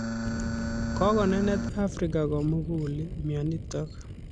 Kokonenet Afrika komugul mionitok